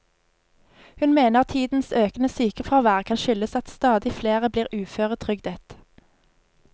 Hun mener tidens økende sykefravær kan skyldes at stadig flere blir uføretrygdet.